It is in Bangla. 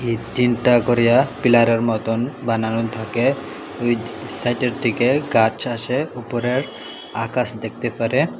এই তিনটা করিয়া পিলারের মতন বানানো থাকে ওই সাইটের দিকে গাছ আছে উপরের আকাশ দেখতে পারে।